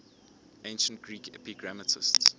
ancient greek epigrammatists